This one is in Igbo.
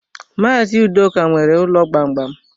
Maazi Udoka nwere ụlọ gbamgbam.